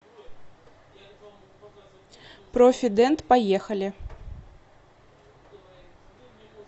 профидент поехали